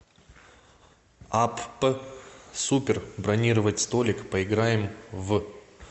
апп супер бронировать столик поиграем в